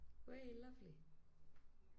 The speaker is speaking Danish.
Wow lovely